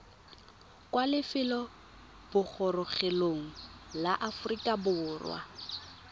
kwa lefelobogorogelong la aforika borwa